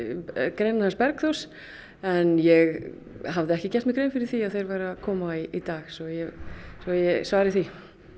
greinina hans Bergþórs en ég hafði ekki gert mér grein fyrir því að þeir væru að koma í dag svo ég svo ég svari því